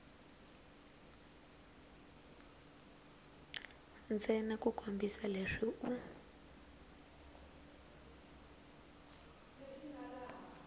ntsena ku kombisa leswi u